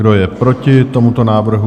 Kdo je proti tomuto návrhu?